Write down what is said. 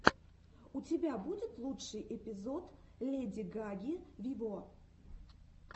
у тебя будет лучший эпизод леди гаги виво